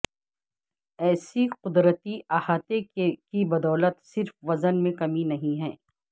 ایسی قدرتی احاطے کی بدولت صرف وزن میں کمی نہیں ہے